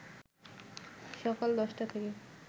সকাল ১০টা থেকে